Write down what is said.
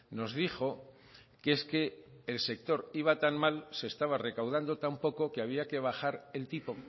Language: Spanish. nos dijo que es que el sector iba tan mal se estaba recaudando tan poco que había que bajar el tipo